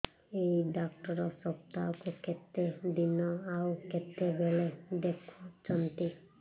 ଏଇ ଡ଼ାକ୍ତର ସପ୍ତାହକୁ କେତେଦିନ ଆଉ କେତେବେଳେ ଦେଖୁଛନ୍ତି